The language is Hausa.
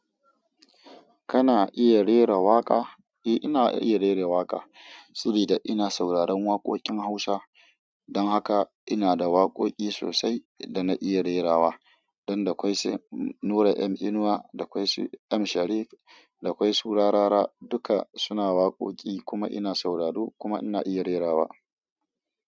Kana iya rera waƙa? Eh ina iya rera waƙa. Saboda ina sauraron waƙoƙin Hausa. Don haka ina da waƙoƙi sosai da na iya rerawa. Don da akwai Nura M Inuwa, da akwai M Sharif, da akwai su Rarara duka suna waƙoƙi kuma ina sauraro kuma ina iya rerawa.